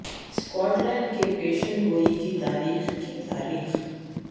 Scot land کے پیشن گوئی کی تاریخ کی تاریخ